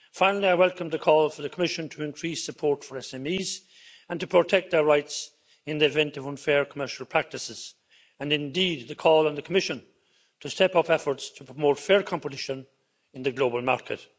Finally, I welcome the call for the Commission to increase support for SMEs and to protect our rights in the event of unfair commercial practices, and indeed the call on the Commission to step up efforts to promote fair competition in the global market.